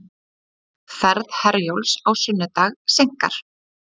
Ferð Herjólfs á sunnudag seinkar